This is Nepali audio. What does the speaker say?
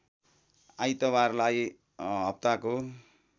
आइतबारलाई हप्ताको